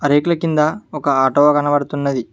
లైట్ల కింద ఒక ఆటో కనబడుతున్నది.